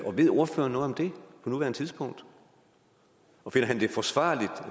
ved ordføreren noget om det på nuværende tidspunkt og finder han det forsvarligt